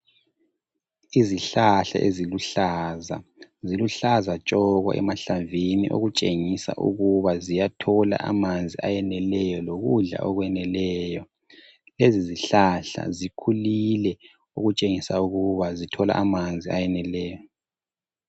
Izihlahla eziluhlaza. Ziluhlaza tshoko emahlamvini okutshengisa ukuba ziyathola amanzi ayeneleyo lokudla okweneleyo. Lezi zihlahla zikhulile okutshengisa ukuba zithola amanzi ayeneleyo.